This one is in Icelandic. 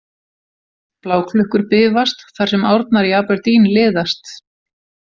Bláklukkur bifast, þar sem árnar í Aberdeen liðast.